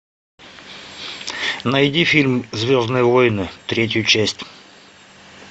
найди фильм звездные войны третью часть